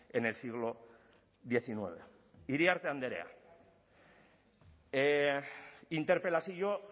en el siglo diecinueve iriarte andrea interpelazio